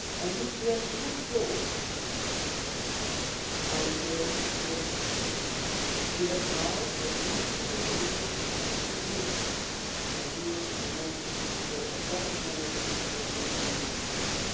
If we have to look forward, I would say that we now have a unique opportunity to build a new momentum for a better management of the European Union budget.